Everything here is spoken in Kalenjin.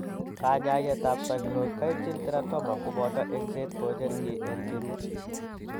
Kanyaayetab sacrococcygeal teratoma kobooto engset kocher kiiy ne kirut.